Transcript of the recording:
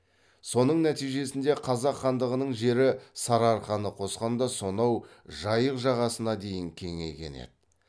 соның нәтижесінде қазақ хандығының жері сарыарқаны қосқанда сонау жайық жағасына дейін кеңейген еді